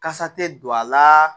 Kasa tɛ don a la